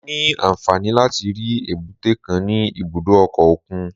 Mo ní àǹfààní láti rí èbúté kan ní ibùdó ọkọ̀ òkun